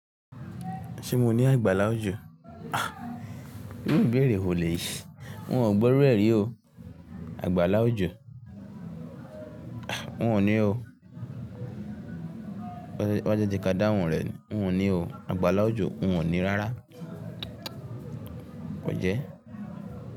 Ṣé mo ní àgbàlá òjò? Ah! Irú ìbéèrè wo lèyí? Mogbọ́ irú ẹ̀ rí o Àgbàlá òjò? Ah! Wòn ní o. Wá, wá jẹ́ k'á dá wun rẹ̀", wòn ní o. Àgbàlá òjò, wòn ní rárá. O jẹ́?